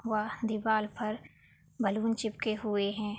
वह दीवार पर बैलून चिपके हुए है।